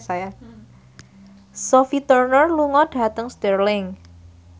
Sophie Turner lunga dhateng Stirling